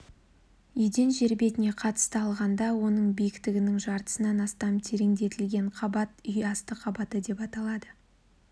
еден жер бетіне қатысты алғанда оның биіктігінің жартысынан астам терентілген қабат үй асты қабаты деп аталады